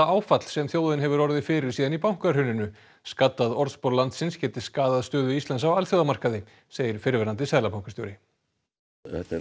áfall sem þjóðin hefur orðið fyrir síðan í bankahruninu skaddað orðspor landsins geti skaðað stöðu Íslands á alþjóðamarkaði segir fyrrverandi seðlabankastjóri þetta er